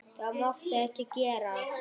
Þetta máttu ekki gera.